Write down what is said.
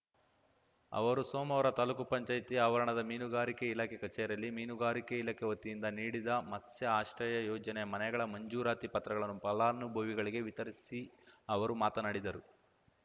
ಅವರು ಸೋಮವಾರ ತಾಲೂಕುಪಂಚಾಯತಿ ಆವರಣದ ಮೀನುಗಾರಿಕೆ ಇಲಾಖೆ ಕಚೇರಿಯಲ್ಲಿ ಮೀನುಗಾರಿಕೆ ಇಲಾಖೆ ವತಿಯಿಂದ ನೀಡಿದ ಮತ್ಸ್ಯ ಆಶ್ರಯ ಯೋಜನೆಯ ಮನೆಗಳ ಮಂಜೂರಾತಿ ಪತ್ರಗಳನ್ನು ಫಲಾನುಭವಿಗಳಿಗೆ ವಿತರಿಸಿ ಅವರು ಮಾತನಾಡಿದರು